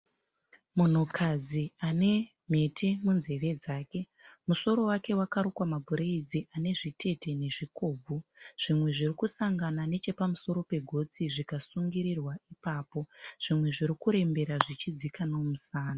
Munhukadzi anemhete munzeve dzake. Musoro wake wakarukwa mabhureyidzi anezvitete nezvikobvu zvimwe zvirikusangana nechepamusoro pegotsi zvikasungirirwa ipapo, zvimwe zvirikurembera zvichidzika nemusana.